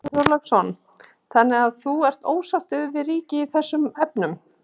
Björn Þorláksson: Þannig að þú ert ósáttur við ríkið í þessum efnum?